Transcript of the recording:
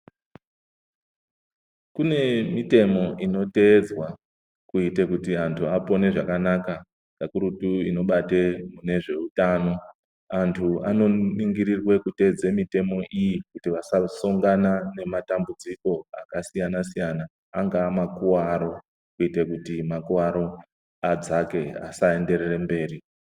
Kune mitemo inoteedzwa kute kuti vantu apone zvakanaka kakurutu inobate munezveutanao antu anoningirirwe ateedze mutemo iyi kuti vasasongana nematambudziko akasiyana siyana angava makuwaro kuite kuti makuwaro adzake asaenderere mberi.